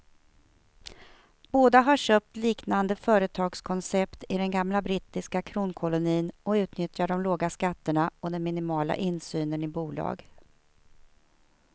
Båda har köpt liknande företagskoncept i den gamla brittiska kronkolonin och utnyttjar de låga skatterna och den minimala insynen i bolag.